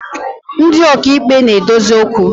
Ndi okeikpe na-adozi okwu